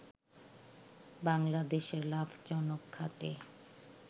বাংলাদেশের লাভজনক খাতে